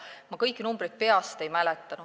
Ma kõiki numbreid peast ei mäleta.